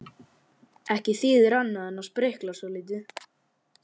Ekki þýðir annað en sprikla svolítið.